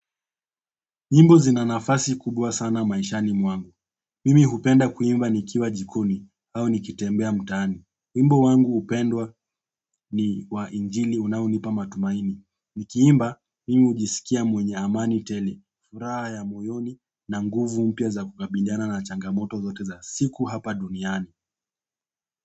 Nyimbo zinanafasi kubwa sana maishani mwangu. Mimi hupenda kuimba nikiwa jikoni au nikitembea mtaani. Wimbo wangu upendwa ni wa injili unaonipa matumaini. Nikiimba mimi hujisikia mwenye amani tele, furaha ya moyoni na nguvu mpya za kukabiliana na changamoto zote za siku hapa duniani.